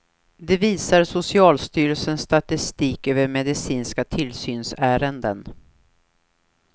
Det visar socialstyrelsens statistik över medicinska tillsynsärenden.